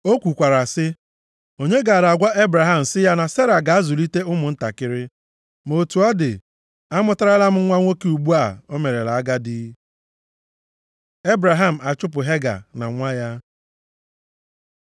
O kwukwara sị, “Onye gaara agwa Ebraham sị ya na Sera ga-azụlite ụmụntakịrị. Ma otu ọ dị, amụtarala m ya nwa nwoke ugbu a o merela agadi.” Ebraham achụpụ Hega na nwa ya